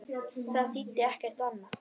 Það þýddi ekkert annað.